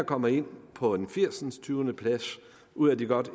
kommer ind på en firsindstyvendeplads ud af de godt